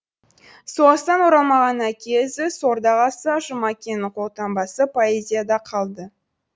соғыстан оралмаған әке ізі сорда қалса жұмакеннің қолтаңбасы поэзияда қалды